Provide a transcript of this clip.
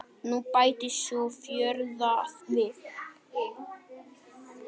Nú bætist sú fjórða við.